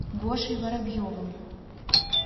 гошей воробьевым